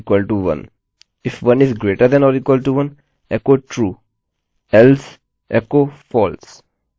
if 1 >= 1 echo true else echo false